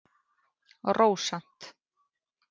Rósant